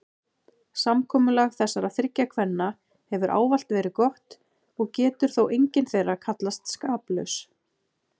Samkomulag þessara þriggja kvenna hefur ávallt verið gott og getur þó engin þeirra kallast skaplaus.